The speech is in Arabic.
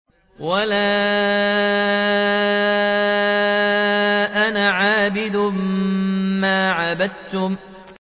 وَلَا أَنَا عَابِدٌ مَّا عَبَدتُّمْ